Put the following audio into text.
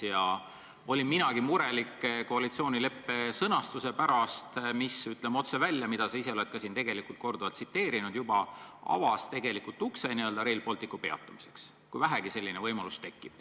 Ja olin minagi murelik koalitsioonileppe sõnastuse pärast, mida sa ise oled siin tegelikult juba korduvalt tsiteerinud ja mis, ütleme otse välja, avas tegelikult ukse n-ö Rail Balticu ehituse peatamiseks, kui vähegi selline võimalus tekib.